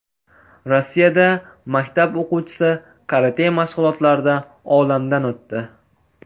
Rossiyada maktab o‘quvchisi karate mashg‘ulotlarida olamdan o‘tdi.